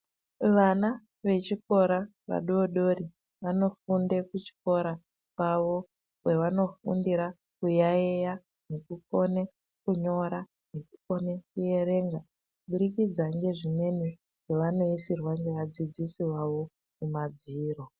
Vana vechikora vadodori vanofunda kuchikora kwavo kwavanofundira kuyaiya nekukone kunyora nekukone kuerenga. Kubudikidza ngezvimweni zvavanoisirwa nevadzidzisi vavo kumadziro.